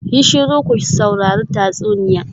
Yi shiru ku saurari tatsuniya.